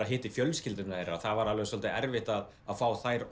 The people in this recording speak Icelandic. hitti fjölskyldu þeirra og það var dálítið erfitt að fá þær